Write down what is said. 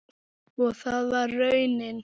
Og það varð raunin.